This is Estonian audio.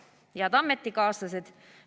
Head ametikaaslased!